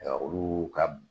olu ka